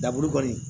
Daburu kɔni